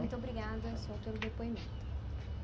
E muito obrigada, senhor, pelo depoimento.